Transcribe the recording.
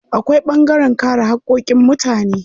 Akwai ɓangaren kare haƙƙoƙin mutane.